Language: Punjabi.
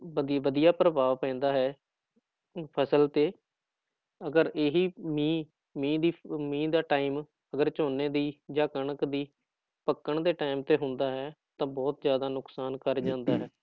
ਵਧੀ ਵਧੀਆ ਪ੍ਰਭਾਵ ਪੈਂਦਾ ਹੈ ਫ਼ਸਲ ਤੇ ਅਗਰ ਇਹੀ ਮੀਂਹ ਮੀਂਹ ਦੀ ਮੀਂਹ ਦਾ time ਝੋਨੇ ਦੀ ਜਾਂ ਕਣਕ ਦੀ ਪੱਕਣ ਦੇ time ਤੇ ਹੁੰਦਾ ਹੈ ਤਾਂ ਬਹੁਤ ਜ਼ਿਆਦਾ ਨੁਕਸਾਨ ਕਰ ਜਾਂਦਾ ਹੈ